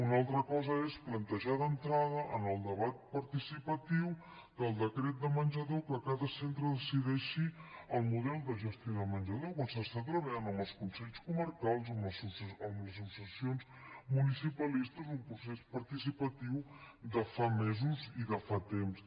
una altra cosa és plantejar d’entrada en el debat participatiu del decret de menjador que cada centre decideixi el model de gestió de menjador quan s’està treballant amb els consells comarcals amb les associacions municipalistes un procés participatiu de fa mesos i de fa temps